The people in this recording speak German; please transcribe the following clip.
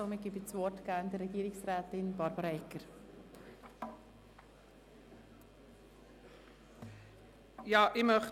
Somit erteile ich gerne Regierungsrätin Barbara Egger das Wort.